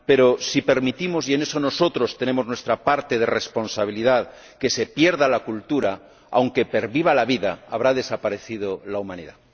Pero si permitimos ―y en eso nosotros tenemos nuestra parte de responsabilidad― que se pierda la cultura, aunque perviva la vida, habrá desaparecido la humanidad.